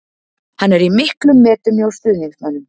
Hann er í miklum metum hjá stuðningsmönnum.